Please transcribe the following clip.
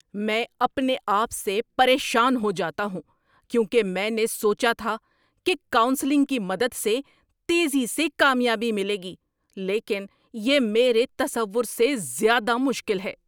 میں اپنے آپ سے پریشان ہو جاتا ہوں کیونکہ میں نے سوچا تھا کہ کاؤنسلنگ کی مدد سے تیزی سے کامیابی ملے گی، لیکن یہ میرے تصور سے زیادہ مشکل ہے۔